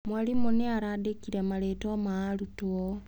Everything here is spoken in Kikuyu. Mwarimũ nĩ arandĩkire marĩĩtwa ma arutwo.